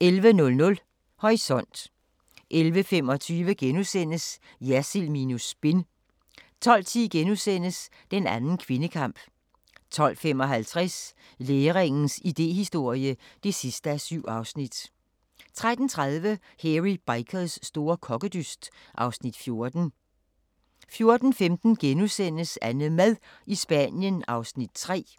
11:00: Horisont 11:25: Jersild minus spin * 12:10: Den anden kvindekamp * 12:55: Læringens idéhistorie (7:7) 13:30: Hairy Bikers store kokkedyst (Afs. 14) 14:15: AnneMad i Spanien (3:8)*